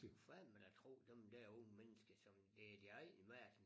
Du kan fandme da tro dem der unge mennesker som de ejer verden